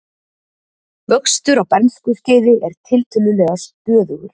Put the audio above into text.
Vöxtur á bernskuskeiði er tiltölulega stöðugur.